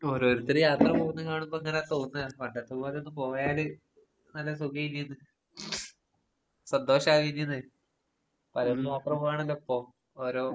ഓരോരുത്തര് യാത്ര പോകുന്ന കാണുമ്പങ്ങനെ തോന്നാണ് പണ്ടത്തെ പോലൊന്ന് പോയാല് നല്ല സുഖേല്ലേത്. സന്തോഷാവില്ലേന്ന്. ആണല്ലോപ്പോ ഓരോ